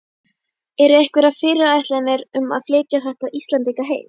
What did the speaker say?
Eru einhverjar fyrirætlanir um að flytja þessa Íslendinga heim?